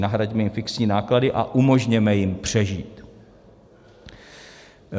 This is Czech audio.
Nahraďme jim fixní náklady a umožněme jim přežít.